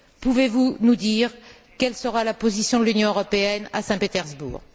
Pouvez vous nous dire quelle sera la position de l'Union européenne à Saint Pétersbourg?